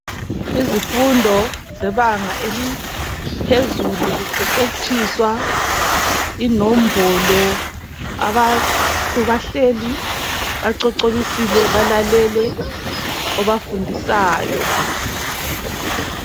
Izifundo zebanga eliphezulu kuqeqetshiswa inombolo abantu bahleli bacocobisile balalele obafundisayo.